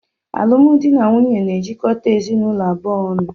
Alụmdi na nwunye na-ejikọta ezinụlọ abụọ ọnụ